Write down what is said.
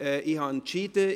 Ich habe entschieden: